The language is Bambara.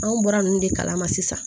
Anw bɔra ninnu de kalama sisan